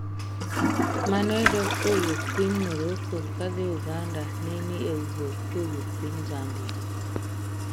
mane dok kowuok Piny Moroko kadhi Uganda ne ni e wuoth kowuok piny Zambia